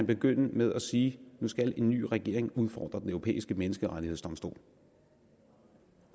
begynde med at sige nu skal en ny regering udfordre den europæiske menneskerettighedsdomstol